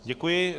Děkuji.